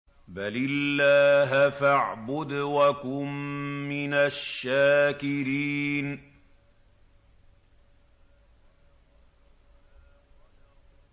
بَلِ اللَّهَ فَاعْبُدْ وَكُن مِّنَ الشَّاكِرِينَ